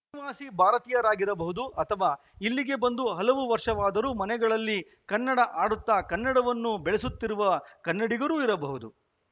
ಅನಿವಾಸಿ ಭಾರತೀಯರಾಗಿರಬಹುದು ಅಥವಾ ಇಲ್ಲಿಗೆ ಬಂದು ಹಲವು ವರ್ಷವಾದರೂ ಮನೆಗಳಲ್ಲಿ ಕನ್ನಡ ಆಡುತ್ತಾ ಕನ್ನಡವನ್ನು ಬೆಳೆಸುತ್ತಿರುವ ಕನ್ನಡಿಗರು ಇರಬಹುದು